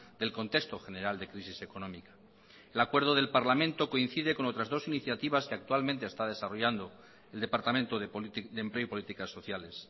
del contexto general de crisis económica el acuerdo del parlamento coincide con otras dos iniciativas que actualmente está desarrollando el departamento de empleo y políticas sociales